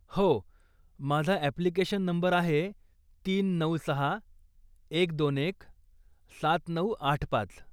हो, माझा application number आहे तीन नऊ सहा एक दोन एक सात नऊ आठ पाच